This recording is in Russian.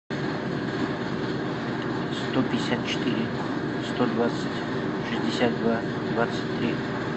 сто пятьдесят четыре сто двадцать шестьдесят два двадцать три